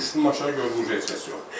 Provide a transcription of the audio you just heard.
Düşdüm aşağı gördüm heç kəs yoxdur.